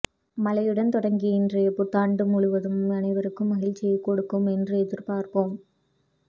மழையுடன் தொடங்கிய இன்றைய புத்தாண்டு ஆண்டு முழுவதும் அனைவருக்கும் மகிழ்ச்சியை கொடுக்கும் என்று எதிர்பார்ப்போம்